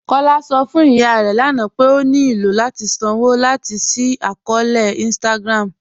Kọla sọ fún ìyà rẹ lána pé ó ní ilò láti sànwo láti ṣí àkọọ̀lẹ̀ Instagram̀